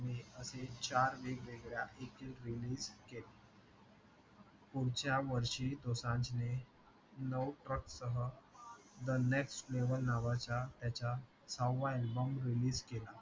हे असे चार वेगवेगळ्या एकल release केले पुढच्या वर्षी दोसांझने नऊ truck सह the next level नावाचा याचा सहावा album release केला